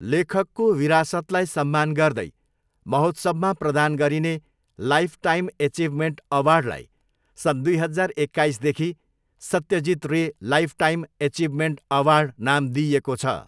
लेखकको विरासतलाई सम्मान गर्दै महोत्सवमा प्रदान गरिने लाइफटाइम एचिभमेन्ट अवार्डलाई सन् दुई हजार एक्काइसदेखि 'Satyajit Ray lifetime achievement award' नाम दिइएको छ।